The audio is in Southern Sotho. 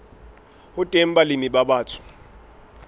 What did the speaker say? ho teng balemi ba batsho